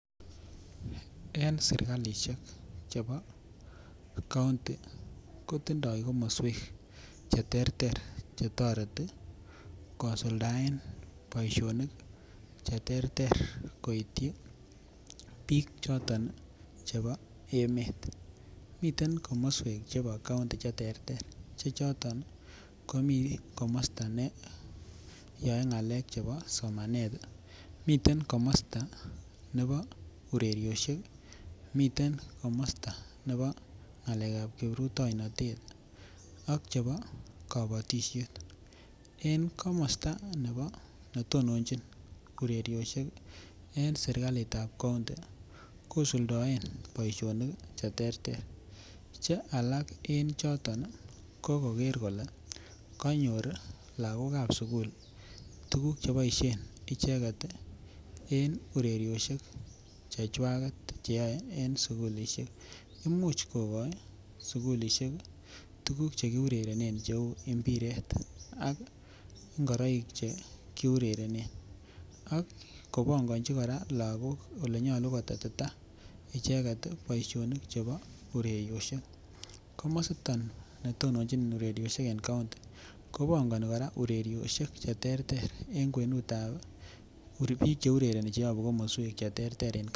En serikalishek chebo county kotindo komoswek cheterter chetoreti kosuldaen boishonik cheterter koityi biik choton chebo emet, miten komoswek chebo county cheterter che choton komii komosto neyoe ngalek chebo somanet, miten komosto nebo urerioshek, miten komosto nebo ngalekab kipruitoinotet ak chebo kobotishet en komosto nebo netononchin urerioshek en serikalitab county kosuldoen boishonik cheterter che alak en choton ko koker kolee konyor lokokab sukul tukuk cheboishen icheket en urerioshek chechwaket cheyoe en sukulishek imuch kokoi sukulishek tukuk chekiurerenen cheu mbiret a ingoroik che kiurerenen ak kobongonchi kora lokok olenyolu kotetita icheket boishonik chebo urerioshek, komositon nitononchin urerioshek en county kobongoni kora urerioshek cheterter en kwenutab biik cheurereni cheyobu komoswek cheterteren.